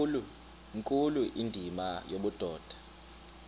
nkulu indima yobudoda